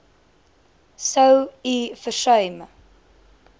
sou u versuim